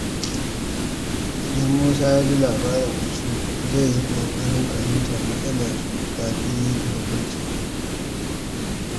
Idan Musa ya ji labarin wasu, zai yi ƙoƙarin fahimtar matsalarsu kafin yanke hukunci.